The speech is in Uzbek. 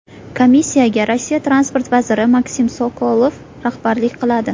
Komissiyaga Rossiya transport vaziri Maksim Sokolov rahbarlik qiladi.